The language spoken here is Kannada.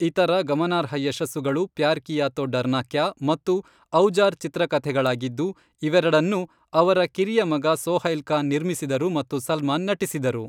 ಇತರ ಗಮನಾರ್ಹ ಯಶಸ್ಸುಗಳು ಪ್ಯಾರ್ ಕಿಯಾ ತೋ ಡರ್ನಾ ಕ್ಯಾ ಮತ್ತು ಔಜಾರ್ ಚಿತ್ರಕಥೆಗಳಾಗಿದ್ದು, ಇವೆರಡನ್ನೂ ಅವರ ಕಿರಿಯ ಮಗ ಸೊಹೈಲ್ ಖಾನ್ ನಿರ್ಮಿಸಿದರು ಮತ್ತು ಸಲ್ಮಾನ್ ನಟಿಸಿದರು.